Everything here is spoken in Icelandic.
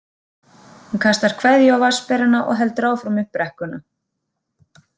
Hún kastar kveðju á vatnsberana og heldur áfram upp brekkuna.